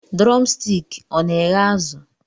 Drọmstik ọ na eghe azụ?